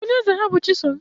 Onye eze ha bụ chisom